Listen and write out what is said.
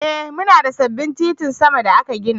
Ee muna da sabbin titin sama da aka gina.